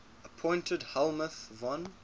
appointed helmuth von